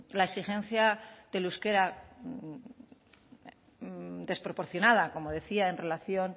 la exigencia del euskera desproporcionada como decía en relación